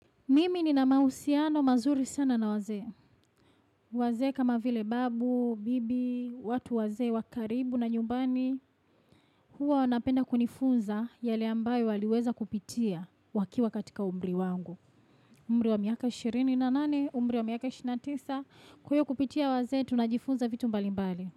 Mimi ni na mausiano mazuri sana na waze. Waze kama vile babu, bibi, watu waze, wakaribu na nyumbani. Huwa wanapenda kunifunza yale ambayo waliweza kupitia wakiwa katika umri wangu. Umri wa miaka 28, umri wa miaka 29. Kuyo kupitia waze tunajifunza vitu mbali mbali.